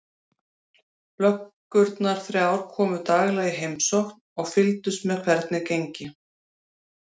Löggurnar þrjár komu daglega í heimsókn og fylgdust með hvernig gengi.